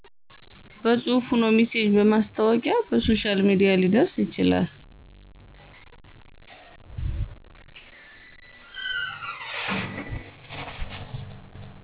በፅሁፍ ሆኖ ሚሴጅ በማስታወቂያ በሶሻል ሚዲያ ሊደርስ ይችላል።